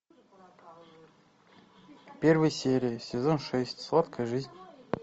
первая серия сезон шесть сладкая жизнь